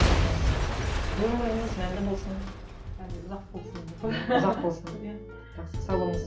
і өміріңіз мәнді болсын ұзақ болсын иә жақсы сау болыңыз